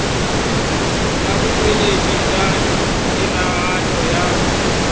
ya botšweletši bja tiragatšo ya